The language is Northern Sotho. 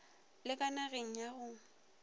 la ka nageng la go